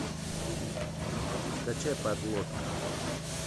скачай подлодка